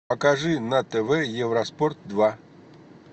покажи на тв евроспорт два